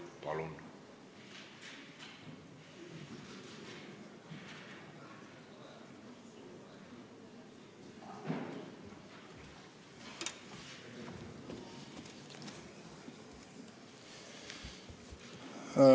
Palun!